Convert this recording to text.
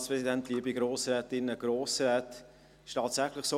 Es ist tatsächlich so: